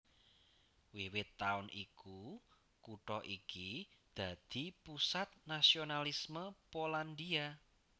Wiwit taun iku kutha iki dadi pusat nasionalisme Polandia